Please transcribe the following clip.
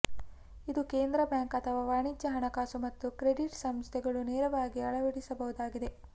ಇದು ಕೇಂದ್ರ ಬ್ಯಾಂಕ್ ಅಥವಾ ವಾಣಿಜ್ಯ ಹಣಕಾಸು ಮತ್ತು ಕ್ರೆಡಿಟ್ ಸಂಸ್ಥೆಗಳು ನೇರವಾಗಿ ಅಳವಡಿಸಬಹುದಾಗಿದೆ